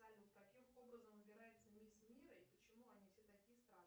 салют каким образом выбирается мисс мира и почему они все такие страшные